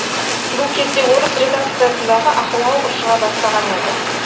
бұл кезде орыс редакциясындағы ахуал ушыға бастаған еді